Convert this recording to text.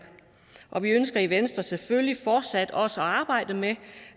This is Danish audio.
og vi ønsker i venstre selvfølgelig fortsat også at arbejde med